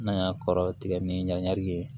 N'an y'a kɔrɔ tigɛ ni ɲagami ye